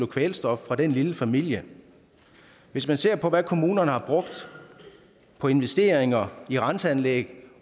kvælstof fra den lille familie hvis man ser på hvad kommunerne har brugt på investeringer i renseanlæg